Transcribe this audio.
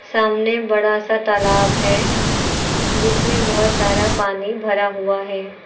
सामने बड़ा सा तालाब है जिसमें बहुत सारा पानी भरा हुआ है।